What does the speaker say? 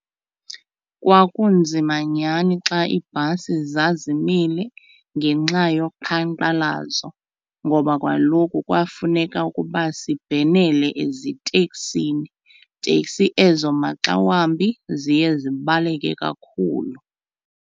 Kwakunzima nyhani xa ibhasi zazimile ngenxa yoqhankqalazo ngoba kaloku kwafuneka ukuba sibhenele eziteksini teksi ezo maxa wambi ziye zibaleke kakhulu.